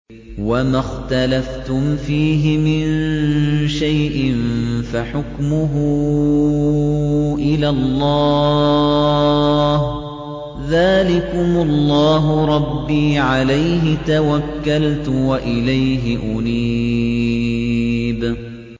وَمَا اخْتَلَفْتُمْ فِيهِ مِن شَيْءٍ فَحُكْمُهُ إِلَى اللَّهِ ۚ ذَٰلِكُمُ اللَّهُ رَبِّي عَلَيْهِ تَوَكَّلْتُ وَإِلَيْهِ أُنِيبُ